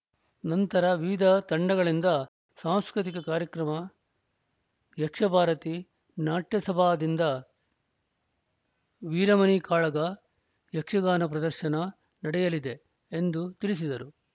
ನಂತರ ವಿವಿಧ ತಂಡಗಳಿಂದ ಸಾಂಸ್ಕೃತಿಕ ಕಾರ್ಯಕ್ರಮ ಯಕ್ಷಭಾರತಿ ನಾಟ್ಯಸಭಾದಿಂದ ವೀರಮಣಿ ಕಾಳಗ ಯಕ್ಷಗಾನ ಪ್ರದರ್ಶನ ನಡೆಯಲಿದೆ ಎಂದು ತಿಳಿಸಿದರು